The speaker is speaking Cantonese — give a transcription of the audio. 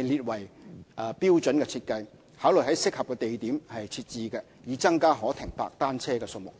列為標準設計，考慮在適合的地點設置，以增加可停泊單車的數目。